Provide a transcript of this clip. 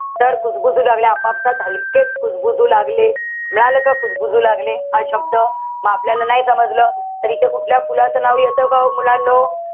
तर कुजबुजु लागले. आपापसात हलकेच कुजबजु लागले. मिळालं का कुजबुजू लागले? हा शब्द? म आपल्याला नाही समजलं तर इथे कठल्या फुलाचं नाव येत का हो मुलांनो?